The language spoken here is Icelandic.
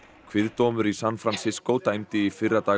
kviðdómur í San Francisco dæmdi í fyrradag